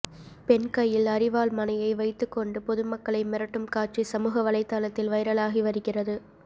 பெண் கையில் அரிவாள் மனையை வைத்துக் கொண்டு பொதுமக்களை மிரட்டும் காட்சி சமூக வலைத்தளத்தில் வைரலாகி வருகிறது